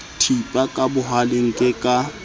thipa ka bohaleng ke ka